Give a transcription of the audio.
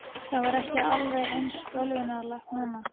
Það var ekki alveg eins bölvanlegt núna.